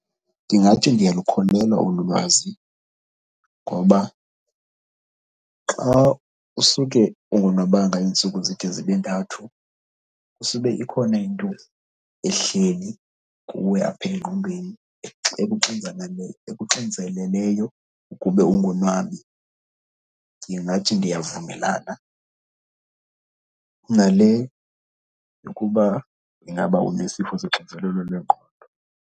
Ndingathi ndiyalukholelwa olu lwazi ngoba xa usuke ungonwabanga iintsuku zide zibe ntathu, kusube ikhona into ehleli kuwe apha engqondweni ekuxinzeleleyo ukube ungonwabi. Ndingathi ndiyavumelana nale yokuba ingaba unesifo soxinzelelo lwengqondo.